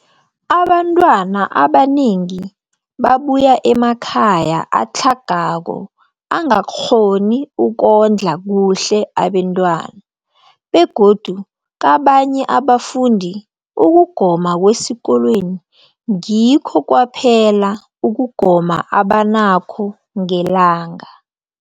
Abantwana abanengi babuya emakhaya atlhagako angakghoni ukondla kuhle abentwana, begodu kabanye abafundi, ukugoma kwesikolweni ngikho kwaphela ukugoma abanakho ngelanga.